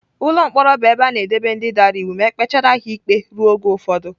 Ụlọ mkpọrọ bụ ebe a na-edobe ndị dara iwu ma e kpechara ha ikpe ruo oge ụfọdụ